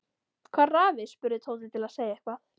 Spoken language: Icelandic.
Hvar er afi? spurði Tóti til að segja eitthvað.